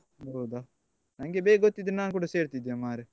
ಹೌದಾ ನಂಗೆ ಬೇಗ ಗೊತ್ತಿದ್ರೆ ನಾನ್ ಕೂಡ ಸೇರ್ತಿದ್ದೆ ಮಾರೆ.